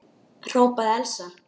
hrópaði Elsa.